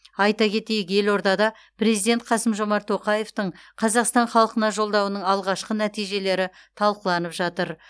айта кетейік елордада президент қасым жомарт тоқаевтың қазақстан халқына жолдауының алғашқы нәтижелері талқыланып жатыр